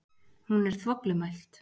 Hún er þvoglumælt.